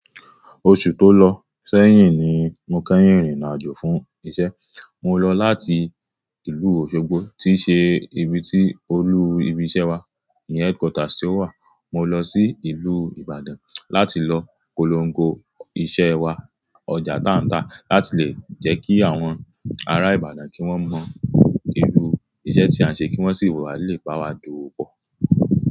Oṣù tó lọ sẹ́yìn ni mo kẹ́yìn rìnrin àjò fún iṣẹ́. Mo lọ láti ìlú Òṣogbo tí ṣe ibi tí olú ibi iṣẹ́ wa, ìyẹn headquarter tí ó wà. Mo lọ sí ìlú Ìbàdàn láti lọ pólongo iṣẹ́ wa ọjà táǹtán láti lè jẹ́ kí àwọn ará Ìbàdàn kí wọ́n mọ irú iṣẹ́ tí a ń ṣe kí wọ́n sì wà nílé bá wa dówo bọ̀